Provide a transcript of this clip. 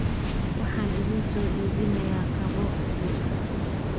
Waxaan idin soo iibinaya kabo fiican